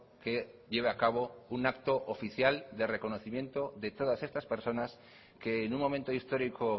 que lleve a cabo un acto oficial de reconocimiento de todas estas personas que en un momento histórico